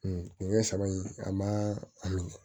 saba in a ma a minɛ